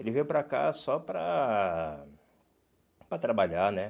Ele veio para cá só para para trabalhar, né?